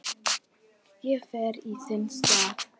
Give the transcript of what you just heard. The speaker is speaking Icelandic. Ég fer í þinn stað